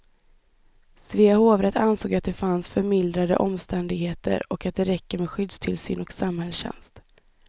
Svea hovrätt ansåg att det fanns förmildrande omständigheter och att det räcker med skyddstillsyn och samhällstjänst.